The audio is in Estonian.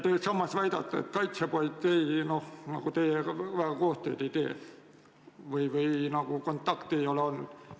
Samas te väidate, et kaitsepolitsei teiega väga koostööd ei tee, teil ei ole eriti kontakte olnud.